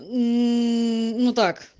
ну так